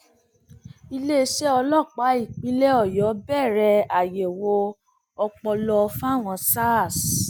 iléeṣẹ ọlọpàá ìpínlẹ ọyọ bẹrẹ àyẹwò ọpọlọ fáwọn sars